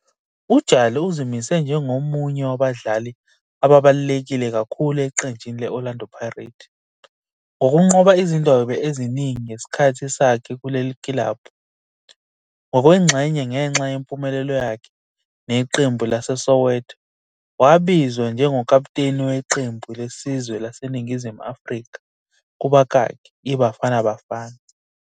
UJali uzimise njengomunye wabadlali ababaluleke kakhulu eqenjini le-Orlando Pirates, ngokunqoba izindebe eziningi ngesikhathi sakhe kule kilabhu. Ngokwengxenye ngenxa yempumelelo yakhe neqembu laseSoweto, wabizwa njengokaputeni weqembu lesizwe laseNingizimu Afrika, kubakaki, iBafana Bafana.